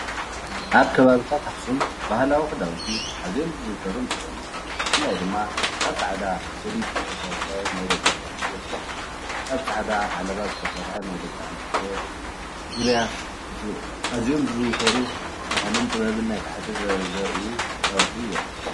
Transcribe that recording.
ኣብ ከባቢታት ኣክሱም ባህላዊ ክዳውንቲ ኣዝዮም ዝዝውተሩ እንትኮኑ ብፍላይ ድማ ካብ ፃዕዳ ጀዲድ ዝተሰረሐ ናይ ደቂ ተባዕትዮ ክዳን ፣ካብ ፃዕዳ ዓለባ ዝተሰረሐ ናይ ደቂ ኣንስትዮ ዙርያ ኣዝዮም ዝዝውተሩ ባህልን ጥበብን ናይቲ ዓዲ ዘርእዩ ክዳውንቲ እዮም።